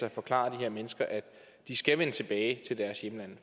at forklare de her mennesker at de skal vende tilbage til deres hjemland